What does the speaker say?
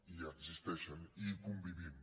i existeixen i hi convivim